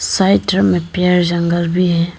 Side drum में पेड़ जंगल भी है।